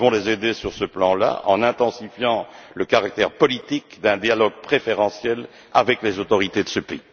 Nous devons les aider sur ce plan en intensifiant le caractère politique d'un dialogue préférentiel avec les autorités de ce pays.